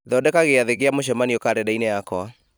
thondeka giathĩ kĩa mũcemanio karenda-inĩ yakwa